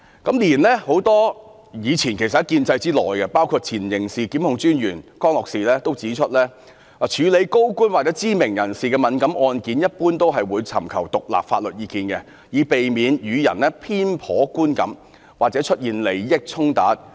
然而，很多屬於建制派的人士，包括前刑事檢控專員江樂士曾指出：處理高官或知名人士的敏感案件，一般也會尋求獨立的法律意見，以避免予人偏頗觀感或出現利益衝突。